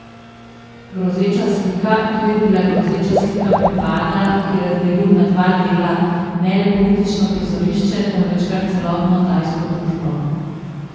Grozeča slika To je bila grozeča slika prepada, ki je razdelil na dva dela ne le politično prizorišče, temveč kar celotno tajsko družbo.